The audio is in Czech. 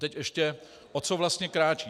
Teď ještě, o co vlastně kráčí.